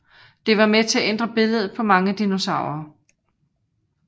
Det var med til at ændre billedet på mange dinosaurer